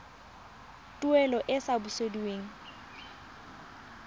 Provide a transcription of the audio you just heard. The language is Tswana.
tuelo e e sa busediweng